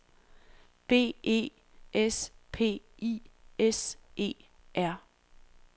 B E S P I S E R